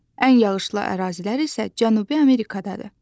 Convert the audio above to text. Ən yağışlı ərazilər isə Cənubi Amerikadadır.